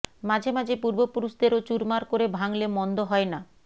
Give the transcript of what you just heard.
মাঝে মাঝে পূর্বপুরুষদেরও চুরমার করে ভাঙলে মন্দ হয় না